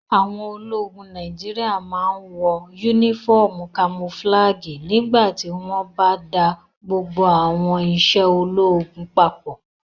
Àwọn ológun Nàìjíríyà máa n wọ yúnífọ́ọ̀mù kamofúlàgì nígbà tí wọ́n bá da gbogbo àwọn iṣẹ́ ológun papọ̀